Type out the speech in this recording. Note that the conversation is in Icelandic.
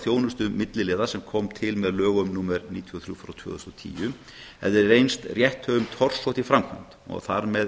þjónustu milliliða sem kom til með lögum númer níutíu og þrjú tvö þúsund og tíu hefði reynst rétthöfum torsótt í framkvæmd og þar er